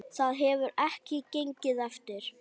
Það hefur ekki gengið eftir.